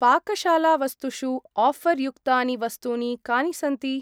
पाकशालावस्तुषु offer युक्तानि वस्तूनि कानि सन्ति?